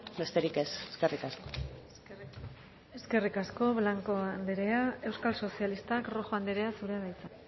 besterik ez eskerrik asko eskerrik asko blanco andrea euskal sozialistak rojo andrea zurea da hitza